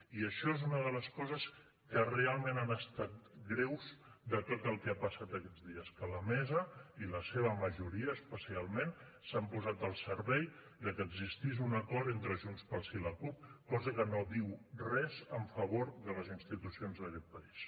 i això és una de les coses que realment han estat greus de tot el que ha passat aquests dies que la mesa i la seva majoria especialment s’han posat al servei que existís un acord entre junts pel sí i la cup cosa que no diu res en favor de les institucions d’aquest país